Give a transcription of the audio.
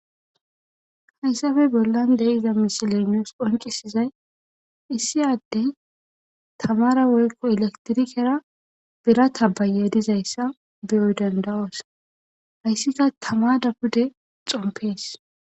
Hayssafe bollan deiza misiley nuus qoncisizay issi addey tamara woykko elektirikera bira tabaye dizayssa beyoy dandawoos hayssika tama da pude xompees.